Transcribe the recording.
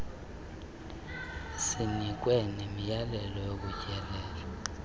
sinikwe nemiyalelo yokutyelela